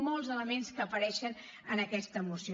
molts elements que apareixen en aquesta moció